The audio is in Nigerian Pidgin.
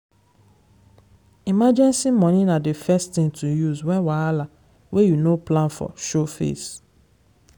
emergency money na the first thing to use when wahala wey you no plan for show face.